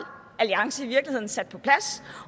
alliance i virkeligheden sat på plads